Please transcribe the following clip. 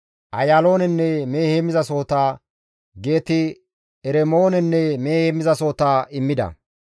Ayaaloonenne mehe heemmizasohota, Geet-Ermoonenne mehe heemmizasohota immida.